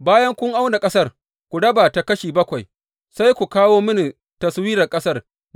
Bayan kun auna ƙasar, ku raba ta kashi bakwai, sai ku kawo mini taswirar ƙasar.